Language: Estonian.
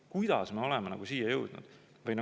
" Kuidas me oleme selleni jõudnud?